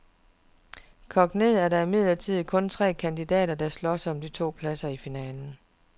Kogt ned er der imidlertid kun tre kandidater, der slås om de to pladser i finalen.